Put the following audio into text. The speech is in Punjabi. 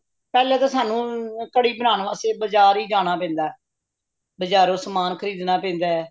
ਪਹਿਲਾਂ ਤਾ ਸਾਂਨੂੰ ਕੜੀ ਬੰਨ੍ਹਣ ਵਾਸਤੇ ਬਾਜ਼ਾਰ ਜਾਣਾ ਪੈਂਦਾ ਬਾਜ਼ਾਰੋਂ ਸਮਾਨ ਖਰੀਦਣਾ ਪੈਂਦਾ